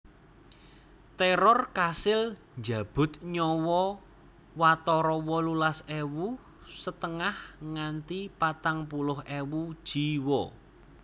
Téror kasil njabut nyawa watara wolulas ewu setengah nganti patang puluh ewu jiwa